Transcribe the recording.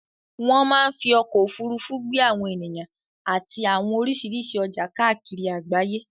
Wọ́n máa ń fí ọkọ̀ ofurufu gbé àwọn ènìyàn àti àwọn oríṣiríṣi ọjà kakiri àgbáyé